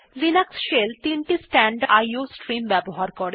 Linux shell তিনটি standard iও stream ব্যবহার করে